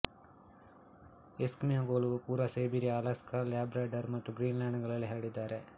ಎಸ್ಕಿಮೋಗಳು ಪೂರ್ವ Siberia Alaska Labrador ಮತ್ತು ಗ್ರೀನ್ಲ್ಯಾಂಡ್ಗಳಲ್ಲಿ ಹರಡಿದ್ದಾರೆ